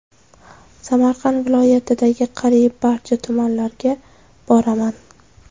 Samarqand viloyatidagi qariyb barcha tumanlarga boraman.